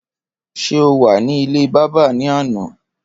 Ṣé o wà ní ilé bábà ní àná?